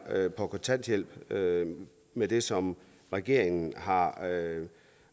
for kontanthjælp med det som regeringen har lavet